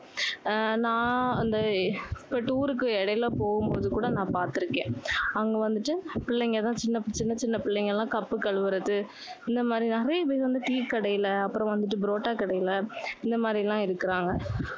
ஆஹ் நான் இந்த tour க்கு இடையில போகும்போது கூட நான் பாத்துருக்கேன். அங்க வந்துட்டு பிள்ளைங்க தான், சின்ன சின்ன பிள்ளைங்க எல்லாம் cup கழுவுறது, இந்த மாதிரி நிறைய பேர் வந்து டீ கடையில, அப்புறம் வந்துட்டு, புரோட்டா கடையில, இந்த மாதிரி எல்லாம் இருக்குறாங்க.